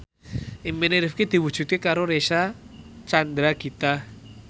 impine Rifqi diwujudke karo Reysa Chandragitta